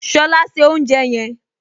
Ṣọlá se oúnjẹ yẹn!